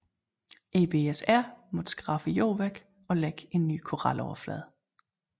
EBSR måtte skrabe jorden væk og lægge en ny koraloverflade